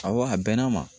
Awɔ a bɛn'a ma